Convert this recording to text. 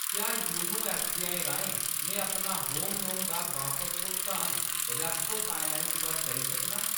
क्या YONO SBI राहें मैं अपना होम लोन दा बापस भुगतान रेप्को फाइनैंस पर करी सकनां ?